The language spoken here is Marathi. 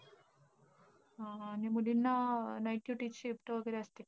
अं मुलींना night duty shift वगैरे असती का?